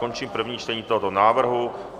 Končím první čtení tohoto návrhu.